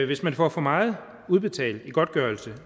hvis man får for meget udbetalt i godtgørelse